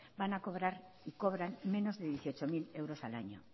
van a cobrar y cobran menos de dieciocho mil euros al año